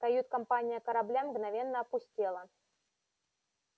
кают-компания корабля мгновенно опустела